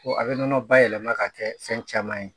Ko a bɛ nɔnɔ bayɛlɛma ka kɛ fɛn caman ye.